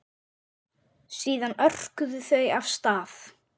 Síðan örkuðu þau af stað.